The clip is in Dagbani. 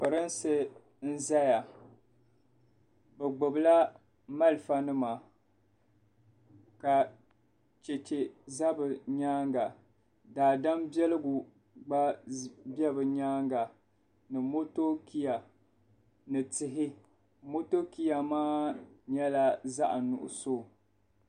Pirinsi n-zaya bɛ gbubila malifanima ka cheche za bɛ nyaaŋa daadam biɛligu gba be bɛ nyaaŋa ni motokiya ni tihi motokiya maa nyɛla zaɣ'nuɣuso.